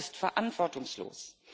das ist verantwortungslos.